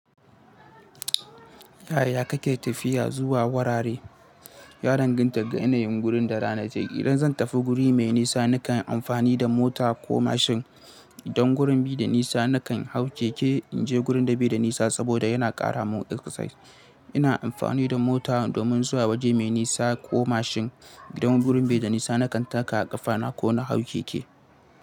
Yaya kake tafiya zuwa wurare? Ya danganta ga yanayin gurin da ranaje. Idan zan tafi guri mai nisa, nakan yi amfani da mota ko mashin. Idan gurin bi da nisa nakan hau keke in je gurin da bai da nisa saboda yana ƙara mun exercise. Ina amfani da mota domin zuwa waje mai nisa ko mashin. Idan gurin bai da nisa nakan taka ƙafana ko na hau keke.